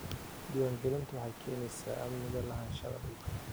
Diiwaangelintu waxay keenaysaa amniga lahaanshaha dhulka.